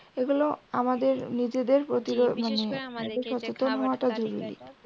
এগুলো আমাদের নিজেদের